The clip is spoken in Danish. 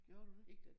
Gjorde du det?